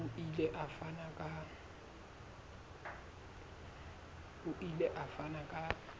o ile a fana ka